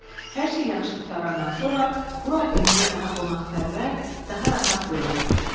Hər şey yaxşı qurtarandan sonra bura Emilə daha qonaqpərvər, daha rahat görünürdü.